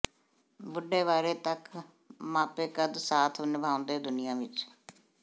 ਬੁੱਢੇ ਵਾਰੇ ਤੱਕ ਮਾਪੇ ਕਦ ਸਾਥ ਨਿਭਾਉਂਦੇ ਦੁਨੀਆ ਵਿਚ